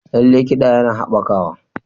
Lallai, kiɗa yana haɓakawa.